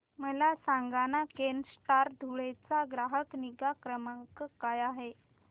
मला सांगाना केनस्टार धुळे चा ग्राहक निगा क्रमांक काय आहे